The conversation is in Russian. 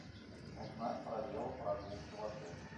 узнать про велопрогулки в отеле